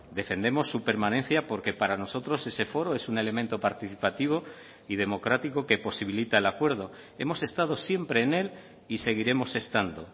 defendemos su permanencia porque para nosotros ese foro es un elemento participativo y democrático que posibilita el acuerdo hemos estado siempre en él y seguiremos estando